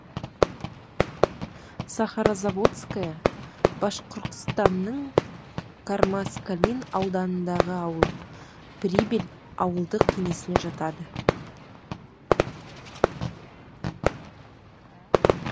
сахарозаводская башқұртстанның кармаскалин ауданындағы ауыл прибель ауылдық кеңесіне жатады